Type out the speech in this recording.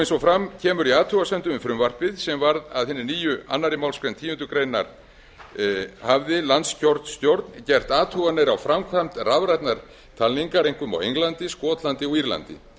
eins og fram kemur í athugasemdum við frumvarpið sem varð að hinni nýju annarrar málsgreinar tíundu grein hafði landskjörstjórn gert athuganir á framkvæmd rafrænnar talningar einkum á englandi skotlandi og írlandi